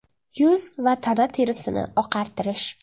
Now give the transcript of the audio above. Yuz va tana terisini oqartirish.